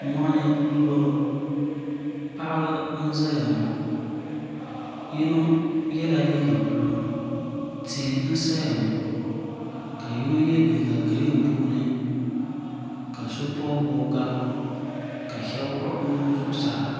moɣini n bɔŋɔ paɣba n zaya ŋɔ yino yɛla liga bulu tihi n saya ŋɔ ka yino yɛ liga girin bɛ puuni ka so bubi bubiga ka shɛbi wuɣ' be nuu zuɣ saa